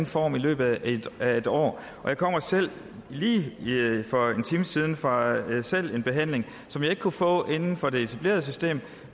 form i løbet af et år jeg kommer selv lige for en time siden fra en behandling som jeg ikke kunne få inden for det etablerede system